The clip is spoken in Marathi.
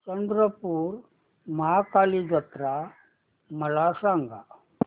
चंद्रपूर महाकाली जत्रा मला सांग